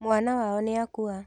Mwana wao nĩakua.